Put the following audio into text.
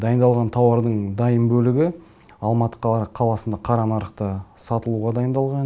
дайындалған тауардың дайын бөлігі алматы қаласында қара нарықта сатылуға дайындалған